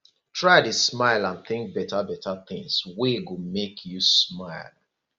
try dey smile and tink betabeta tins wey go mek yu smile